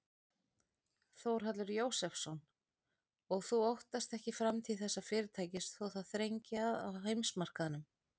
Þórhallur Jósefsson: Og þú óttast ekki framtíð þessa fyrirtækis þó það þrengi að á heimsmarkaðnum?